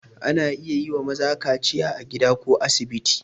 Ana iya yi wa maza kaciya a gida ko a asibiti.